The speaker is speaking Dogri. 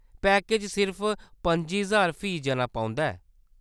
पैकेज सिर्फ पं'जी ज्हार फी जना पौंदा ऐ।